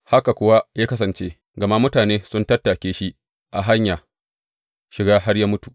Haka kuwa ya kasance, gama mutane sun tattake shi a hanyar shiga, har ya mutu.